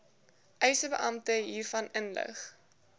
eisebeampte hiervan inlig